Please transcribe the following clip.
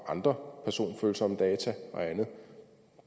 andre personfølsomme data og andet og